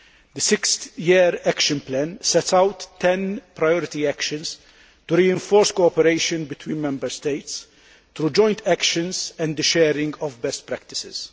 The six year action plan sets out 10 priority actions to reinforce cooperation between Member States through joint actions and the sharing of best practices.